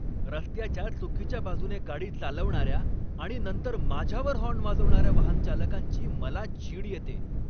रस्त्याच्या चुकीच्या बाजूने गाडी चालवणाऱ्या आणि नंतर माझ्यावर हॉर्न वाजवणाऱ्या वाहनचालकांची मला चीड येते.